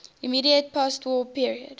immediate postwar period